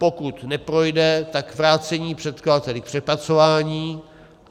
Pokud neprojde, tak vrácení předkladateli k přepracování.